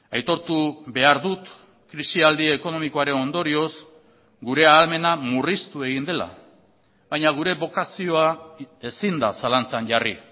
aitortu behar dut krisi aldi ekonomikoaren ondorioz gure ahalmena murriztu egin dela baina gure bokazioa ezin da zalantzan jarri